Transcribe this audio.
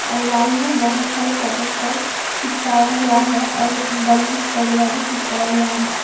और वॉल में बहुत सारे फोटो फ्रेम चिपकाया हुआ है और बलूंस वगैरा भी चिपकाया हुआ है।